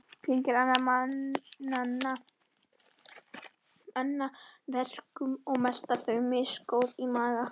Kyngja annarra manna verkum og melta þau, misgóð í maga.